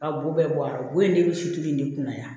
A bo bɛɛ bɔ a la o ye ne bi sutura in de kunna yan